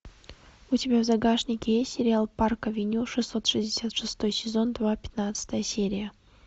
у тебя в загашнике есть сериал парк авеню шестьсот шестьдесят шестой сезон два пятнадцатая серия